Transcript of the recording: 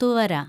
തുവര